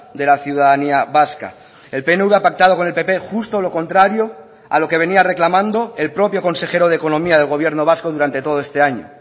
de la ciudadanía vasca el pnv ha pactado con el pp justo lo contrario a lo que venía reclamando el propio consejero de economía del gobierno vasco durante todo este año